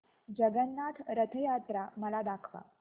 जगन्नाथ रथ यात्रा मला दाखवा